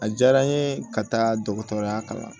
A diyara n ye ka taa dɔgɔtɔrɔya kalan